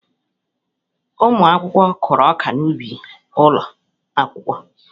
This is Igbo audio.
Ụmụ akwụkwọ ahụ kụrụ ọka n'ubi ụlọ akwụkwọ.